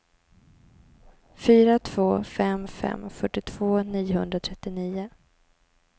fyra två fem fem fyrtiotvå niohundratrettionio